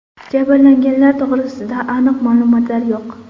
Jabrlanganlar to‘g‘risida aniq ma’lumotlar yo‘q.